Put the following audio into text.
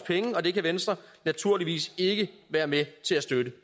penge og det kan venstre naturligvis ikke være med til at støtte